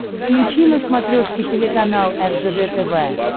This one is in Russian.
включи на смотрешке телеканал ржд тв